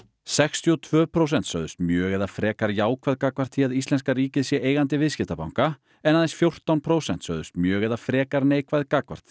sextíu og tvö prósent sögðust mjög eða frekar jákvæð gagnvart því að íslenska ríkið sé eigandi viðskiptabanka en aðeins fjórtán prósent sögðust mjög eða frekar neikvæð gagnvart